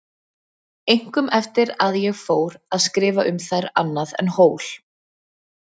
Einkum eftir að ég fór að skrifa um þær annað en hól.